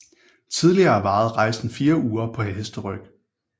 Tidligere varede rejsen 4 uger på hesteryg